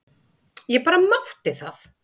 Ég bara mátti það!